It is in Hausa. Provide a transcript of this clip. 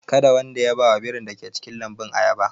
Kada wanda ya ba wa birin da ke cikin lambun ayaba!